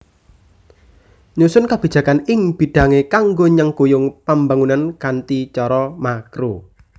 Nyusun kabijakan ing bidhangé kanggo nyengkuyung pambangunan kanthi cara makro